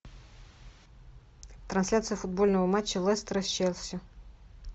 трансляция футбольного матча лестера с челси